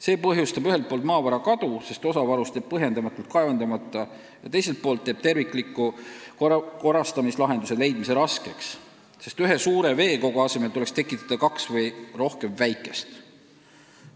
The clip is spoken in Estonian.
See põhjustab ühelt poolt maavara kadu, sest osa varust jääb põhjendamatult kaevandamata, teiselt poolt aga teeb tervikliku korrastamise lahenduse leidmise raskeks, sest ühe suure veekogu asemel tuleks tekitada kaks või rohkem väikest.